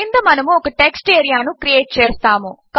క్రింద మనము ఒక టెక్స్ట్ ఏరియా ను క్రియేట్ చేస్తాము